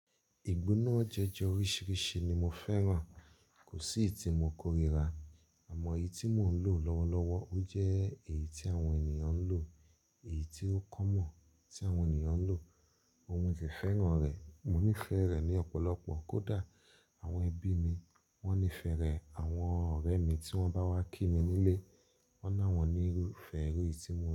Ìgbóná jọ́jọ́ oríṣiríṣi ni mo fẹ́ràn. Kò sí èyí tí mo kórìíra, àmọ́ èyí tí mò ń lò lọ́wọ́lọ́wọ́, ó jẹ́ èyí tí àwọn ènìyàn ń lò, èyí tí ó common ti awọn ènìyàn ń lò. Mo sì fẹ́ràn rẹ̀. Mo nífẹ̀ẹ́ rẹ̀ ní ọ̀pọ̀lọpọ̀. Kódà àwọn ẹbí mi wọ́n nífẹ̀ẹ́ rẹ̀. Àwọn ọ̀rẹ́ mi tí wọ́n bá wá kí mi nílé, wọ́n náà wọ́n nífẹ̀ẹ́ èyí tí mò ń lò.